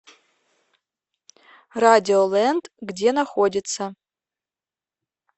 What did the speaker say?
радиолэнд где находится